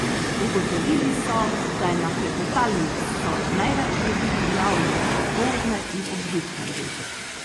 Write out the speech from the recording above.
Ugotovili so, da je na klepetalnico največ ljudi prijavljenih popoldne in ob vikendih.